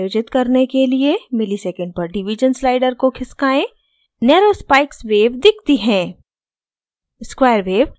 waves को समायोजित करने के लिए msec/div slider को खिसकाएँ narrow spikes waves दिखती है